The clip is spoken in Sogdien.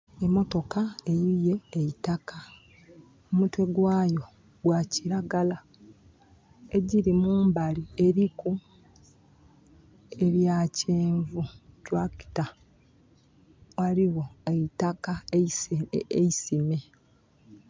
Emotoka eyuye eitaka. Kumutwe gwayo gwa kilagala. Egiri mumbali eriku ebya kyenvu tulakita. Ghaligho eitaka eisime.